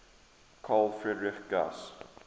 carl friedrich gauss